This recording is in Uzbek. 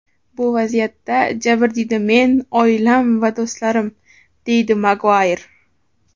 Bu vaziyatda jabrdiyda men, oilam va do‘stlarim”, deydi Maguayr.